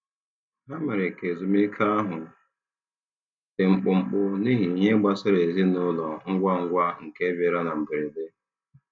Ha mere ka ezumike ahụ dị mkpụmkpụ n'ihi ihe gbasara ezinụlọ ngwa ngwa nke bịara na mberede.